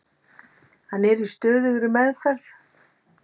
Hann er í stöðugri meðferð.